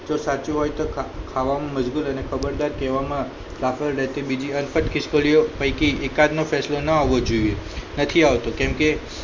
જો સાચું હોય તો ખાવા માં મજબુત અને ખબરદાર કહેવામાં દાખલ રહેતી બીજી પણ ખીસ્કોલીયો પૈકી એકાદ નો ફેસલો ન હોવો જોઈએ નથી આવતો કેમ કે